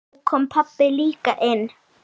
Nú kom pabbi líka inn.